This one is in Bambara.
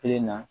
Kelen na